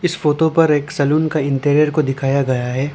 इस फोटो पर एक सैलून का इंटीरियर को दिखाया गया है।